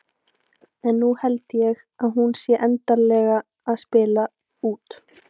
En nú held ég að hún sé endanlega að spila út.